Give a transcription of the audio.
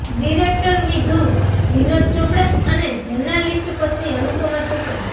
director Vidhu Vinod Chopra અને journalist પત્ની અનુપમા ચોપડા